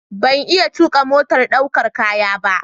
Ban iya tuƙa motar ɗaukar kaya ba.